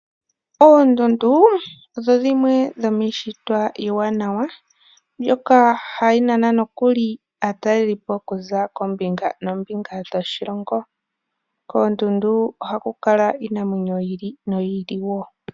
Oondundu odho dimwe dhomiishitwa iiwanawa mbyoka hayi nana nokuli aataleli po okuza koombinga noombinga dhoshilongo. Koondundu ohaku kala iinamwenyo yi ili noyi ili wo.